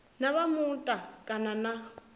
na vha muta kana na